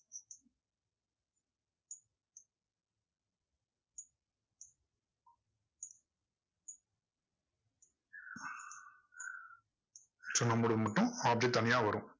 mode க்கு மட்டும் object தனியா வரும்.